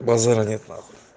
базара нет нахуй